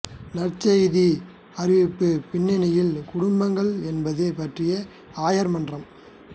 நற்செய்தி அறிவிப்புப் பின்னணியில் குடும்பங்கள் என்பது பற்றிய ஆயர் மன்றம்